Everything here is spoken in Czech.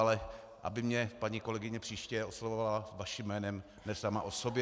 Ale aby mě paní kolegyně příště oslovovala vaším jménem, ne sama o sobě.